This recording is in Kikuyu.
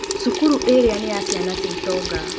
Cukuru ĩrĩa nĩ ya ciana cia itonga.